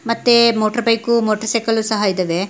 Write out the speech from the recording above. ಮತ್ತೆ motor bike ಮತ್ತು motor cycle ಸಹ ಇದಾವೆ.